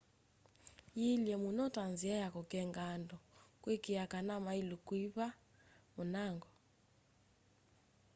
yĩĩlye mũno ta nzĩa ya kũkenga andũ kũĩkĩĩa kana maĩlũ kũĩva mũnango